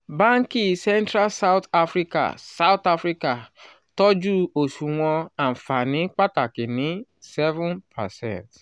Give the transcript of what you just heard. banki central south africa south africa tọju oṣuwọn anfani pataki ni seven percent